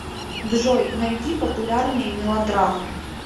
джой найди популярные мелодрамы